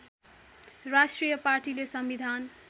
राष्ट्रिय पार्टीले संविधान